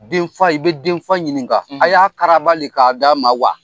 Denfa i bi denfa ɲininkaka a y'a karaba de ka d d'a ma wa?